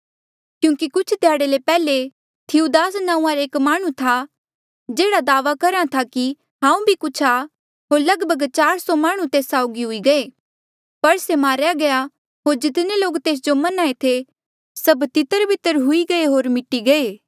क्यूंकि कुछ ध्याड़े ले पैहले थिऊदास नांऊँआं रा एक माह्णुं था जेहड़ा दावा करहा था कि हांऊँ भी कुछ आ होर लगभग चार सौ माह्णुं तेस साउगी हुई गये पर से मारेया गया होर जितने लोक तेस जो मन्हां ऐें थे सभ तितरबितर हुई गये होर मिटी गये